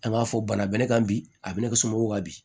An ka fɔ bana bɛ ne kan bi a bɛ ne ka somɔgɔw ka bi